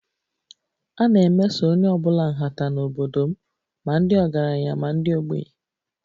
A na-emeso onye ọ bụla nhata n'obodo m, ma ndị ọgaranya ma ndị ogbenye